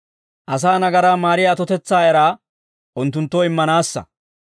Asaa nagaraa maariyaa atotetsaa eraa, unttunttoo immanaassa.